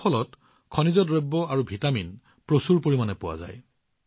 এই ফলত খনিজ আৰু ভিটামিন প্ৰচুৰ পৰিমাণে পোৱা যায়